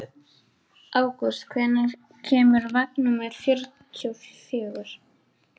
Ágúst, hvenær kemur vagn númer fjörutíu og fjögur?